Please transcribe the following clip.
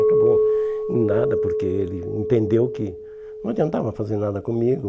Acabou em nada porque ele entendeu que não adiantava fazer nada comigo.